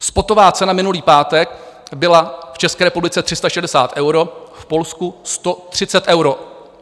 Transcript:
Spotová cena minulý pátek byla v České republice 360 eur, v Polsku 130 eur.